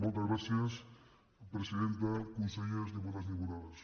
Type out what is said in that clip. moltes gràcies presidenta consellers diputats i diputades